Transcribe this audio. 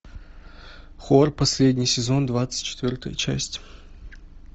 хор последний сезон двадцать четвертая часть